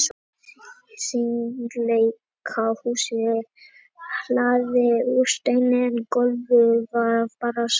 Hringleikahúsið er hlaðið úr steini en gólfið var bara sandur.